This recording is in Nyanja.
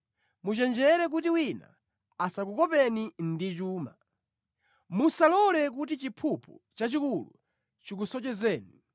Muchenjere kuti wina asakukopeni ndi chuma; musalole kuti chiphuphu chachikulu chikusocheretseni.